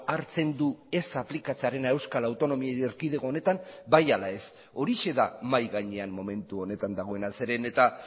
hartzen du ez aplikatzearena euskal autonomi erkidego honetan bai ala ez horixe da mahai gainean momentu honetan dagoena zeren eta